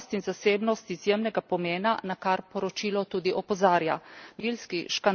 Pri tem sta varnost in zasebnost izjemnega pomena, na kar poročilo tudi opozarja.